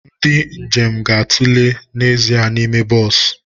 Ndị njem ga-atụle n'ezie n'ime bọs